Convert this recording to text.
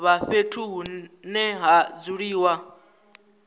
vha fhethu hune ha dzuliwa